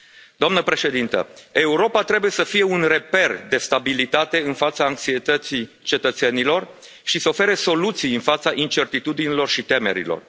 Doamna Președintă, Europa trebuie să fie un reper de stabilitate în fața anxietății cetățenilor și să ofere soluții în fața incertitudinilor și temerilor.